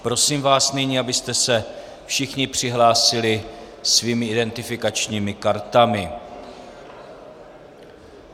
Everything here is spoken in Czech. Prosím vás nyní, abyste se všichni přihlásili svými identifikačními kartami.